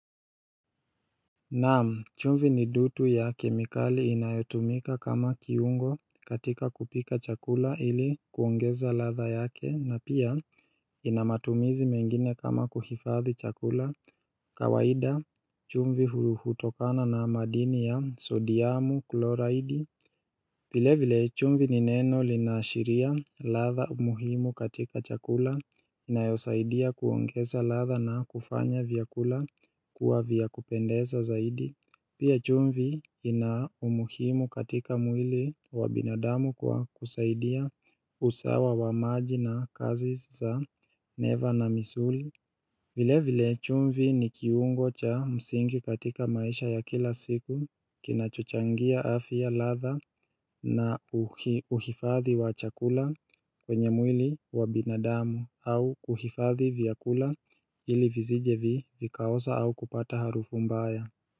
Naam chumvi ni dutu ya kemikali inayotumika kama kiungo katika kupika chakula ili kuongeza ladha yake na pia ina matumizi mengine kama kuhifadhi chakula kawaida chumvi hutokana na madini ya sodiamu kloroidi vile vile chumvi ni neno linaashiria ladha umuhimu katika chakula inayosaidia kuongeza ladha na kufanya vyakula kuwa vya kupendeza zaidi. Pia chumvi ina umuhimu katika mwili wa binadamu kwa kusaidia usawa wa maji na kazi za neva na misuli. Vile vile chumvi ni kiungo cha msingi katika maisha ya kila siku kinachochangia afya ladha na uhifadhi wa chakula kwenye mwili wa binadamu au uhifadhi vyakula ili vizije vii vikaosa au kupata harufu mbaya.